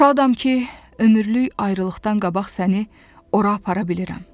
Şadam ki, ömürlük ayrılıqdan qabaq səni ora apara bilirəm.